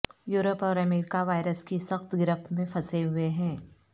Europe اور America virus کی سخت گرفت میں پھنسے ہوئے ہیں